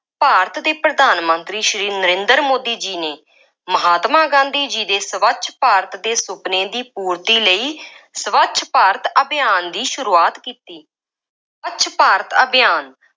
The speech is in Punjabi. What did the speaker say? ਭਾਰਤ ਦੇ ਪ੍ਰਧਾਨ ਮੰਤਰੀ ਸ੍ਰੀ ਨਰਿੰਦਰ ਮੋਦੀ ਜੀ ਨੇ, ਮਹਾਤਮਾ ਗਾਂਧੀ ਜੀ ਦੇ ਸਵੱਛ ਭਾਰਤ ਦੇ ਸੁਪਨੇ ਦੀ ਪੂਰਤੀ ਲਈ ਸਵੱਛ ਭਾਰਤ ਅਭਿਆਨ ਦੀ ਸ਼ੁਰੂਆਤ ਕੀਤੀ। ਸਵੱਛ ਭਾਰਤ ਅਭਿਆਨ